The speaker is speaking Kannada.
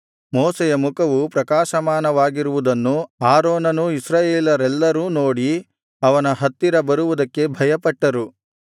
ಮೋಶೆಯ ಮುಖವು ಪ್ರಕಾಶಮಾನವಾಗಿರುವುದನ್ನು ಆರೋನನೂ ಇಸ್ರಾಯೇಲರೆಲ್ಲರೂ ನೋಡಿ ಅವನ ಹತ್ತಿರಕ್ಕೆ ಬರುವುದಕ್ಕೆ ಭಯಪಟ್ಟರು